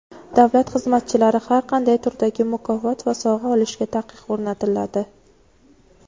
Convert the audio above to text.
Davlat xizmatchilari har qanday turdagi mukofot va sovg‘a olishiga taqiq o‘rnatiladi.